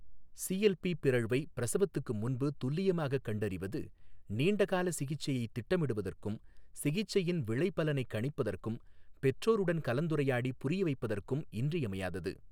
CLP பிறழ்வை பிரசவத்துக்கு முன்பு துல்லியமாகக் கண்டறிவது நீண்டகால சிகிச்சையைத் திட்டமிடுவதற்கும், சிகிச்சையின் விளைபலனைக் கணிப்பதற்கும், பெற்றோருடன் கலந்துரையாடி புரியவைப்பதற்கும் இன்றியமையாதது.